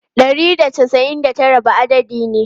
Ɗari da casa'in da tara ba adadi ne.